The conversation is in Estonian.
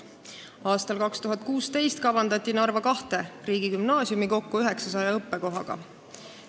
Aastal 2016 kavandati Narva kahte riigigümnaasiumi kokku 900 õppekohaga.